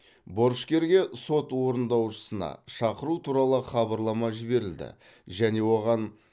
борышкерге сот орындаушысына шақыру туралы хабарлама жіберілді және оған